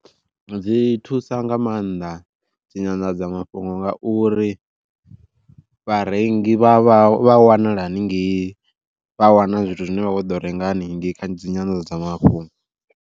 Dzi thusa nga maanḓa dzi nyanḓadzamafhungo ngauri, vharengi vha wanala haningei vha wana zwithu zwine vha kho ḓo renga haningei kha dzi nyanḓadzamafhungo.